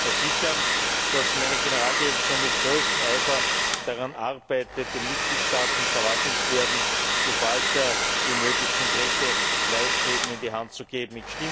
Ich kann Ihnen versichern, dass meine Generaldirektion mit größtem Eifer daran arbeitet, den Mitgliedstaaten und Verwaltungsbehörden so bald wie möglich konkrete Leitfäden in die Hand zu geben.